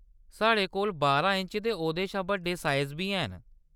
साढ़े कोल बारां इंच ते ओह्‌‌‌दे शा बड्डे साइज़ बी हैन।